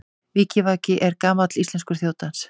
Vikivaki er gamall íslenskur þjóðdans.